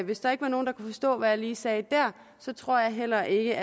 hvis der ikke var nogen der kunne forstå hvad jeg lige sagde der så tror jeg heller ikke